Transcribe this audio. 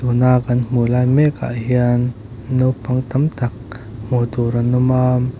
tun a kan hmuh lai mek ah hian naupang tam tak hmuh tur an awm a.